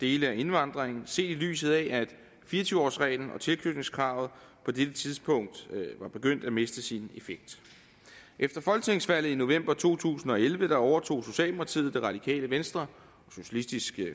dele af indvandringen set i lyset af at fire og tyve årsreglen og tilknytningskravet på dette tidspunkt var begyndt at miste sin effekt efter folketingsvalget i november to tusind og elleve overtog socialdemokratiet det radikale venstre og socialistisk